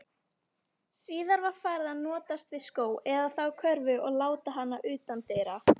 Síðar var farið að notast við skó, eða þá körfu og láta hana utandyra.